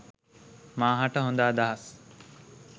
මා හට හොද අදහස්